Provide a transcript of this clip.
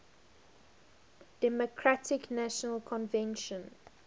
democratic national convention